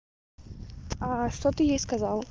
что ты ей сказал